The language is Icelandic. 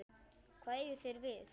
Hvað eigið þér við?